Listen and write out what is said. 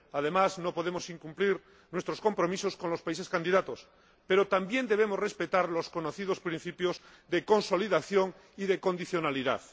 Además, no podemos incumplir nuestros compromisos con los países candidatos, pero también debemos respetar los conocidos principios de consolidación y de condicionalidad.